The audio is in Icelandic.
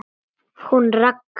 Hún Ragga?